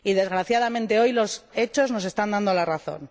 Desgraciadamente, hoy los hechos nos están dando la razón.